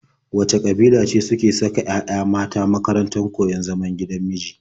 Wace ƙabila ce suke saka 'ya'yanu mata a makarantar koyon zaman gidan miji?